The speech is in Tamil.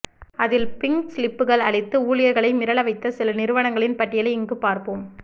அதில் பிங்க் ஸ்லிப்கள் அளித்து ஊழியர்களை மிரள வைத்த சில நிறுவனங்களின் பட்டியலை இங்குப் பார்ப்போம்